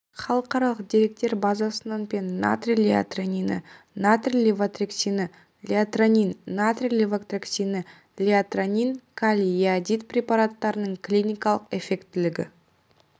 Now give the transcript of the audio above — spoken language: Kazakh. халықаралық деректер базасынан пен натрий лиотиронині натрий левотироксині лиотиронин натрий левотироксині лиотиронин калий йодид препараттарыныңклиникалық эффектілігі